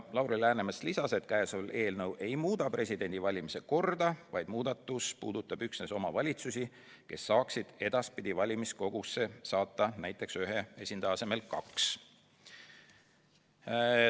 Lauri Läänemets lisas, et käesolev eelnõu ei muuda presidendi valimiste korda, vaid see muudatus puudutab üksnes omavalitsusi, kes saaksid edaspidi valimiskogusse saata ühe esindaja asemel näiteks kaks.